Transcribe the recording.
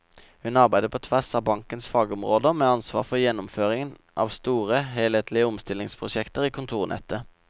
Hun arbeider på tvers av bankens fagområder med ansvar for gjennomføringen av store helhetlige omstillingsprosjekter i kontornettet.